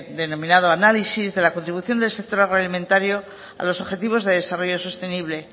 denominado análisis de la contribución del sector agroalimentario a los objetivos de desarrollo sostenible